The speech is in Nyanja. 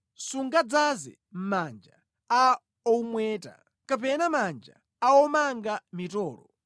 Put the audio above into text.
sungadzaze manja a owumweta kapena manja a omanga mitolo.